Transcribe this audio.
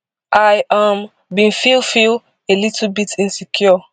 i um bin feel feel a little bit insecure